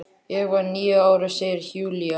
Ég var níu ára, segir Júlía.